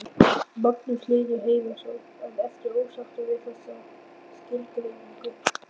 Magnús Hlynur Hreiðarsson: En ertu ósáttur við þessa skilgreiningu?